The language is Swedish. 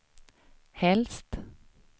helst